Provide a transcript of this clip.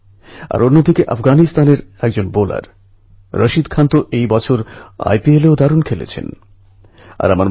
এই কারণে এটা আমাদের সবার দায়িত্ব যে আমরা প্রকৃতিকে ভালোবাসি প্রকৃতিকে রক্ষা করি প্রকৃতির উন্নয়নে সহায়তা করি